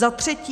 Za třetí.